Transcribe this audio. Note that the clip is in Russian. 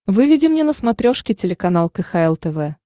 выведи мне на смотрешке телеканал кхл тв